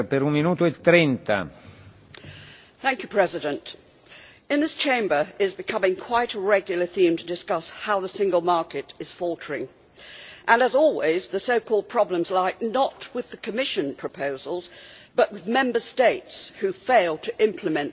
Mr President, in this Chamber it is becoming quite a regular theme to discuss how the single market is faltering, and as always the so called problems lie not with the Commission proposals but with Member States who fail to implement these laws.